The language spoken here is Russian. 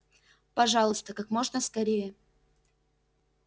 пожалуйста как можно скорее